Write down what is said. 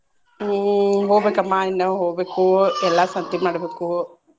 ಹ್ಮ್ ಹೋಗ್ಬೇಕಮ್ಮಾ ಇನ್ನ ಹೊಗ್ಬೇಕು Babble ಎಲ್ಲಾ ಸಂತಿ ಮಾಡ್ಬೇಕು.